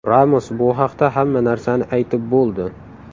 Ramos bu haqda hamma narsani aytib bo‘ldi.